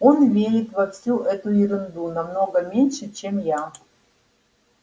он верит во всю эту ерунду намного меньше чем я